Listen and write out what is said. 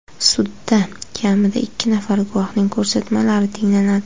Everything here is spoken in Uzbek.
Sudda kamida ikki nafar guvohning ko‘rsatmalari tinglanadi.